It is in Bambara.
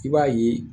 I b'a ye